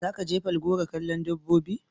Za ka je Falgore kallon dabbobi?